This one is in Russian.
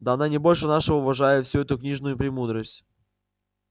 да она не больше нашего уважает всю эту книжную премудрость